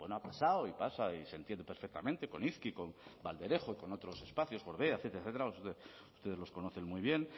ha pasado y pasa y se entiende perfectamente con izki con valderejo y con otros espacios etcétera etcétera ustedes los conocen muy bien